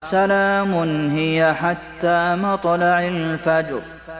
سَلَامٌ هِيَ حَتَّىٰ مَطْلَعِ الْفَجْرِ